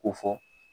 Ko fɔ